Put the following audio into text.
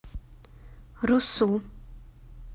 русу